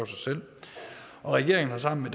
selv regeringen har sammen med